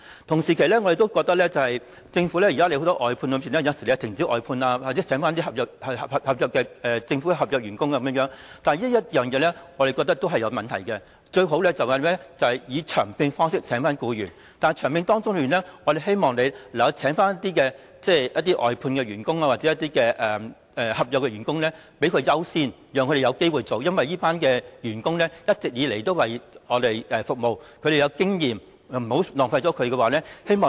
同時，現時政府有很多外判工作，有時會停止外判或聘請一些政府合約員工，但我們認為這個做法是有問題的，最好的做法是以長期聘用方式聘請僱員，但長期聘用之中，希望政府能夠優先聘請一些外判員工或合約員工，讓他們有機會繼續工作，因為這些員工一直為我們服務，他們有經驗，為免浪費他們......